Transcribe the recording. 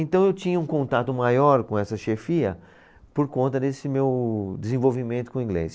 Então eu tinha um contato maior com essa chefia por conta desse meu desenvolvimento com o inglês.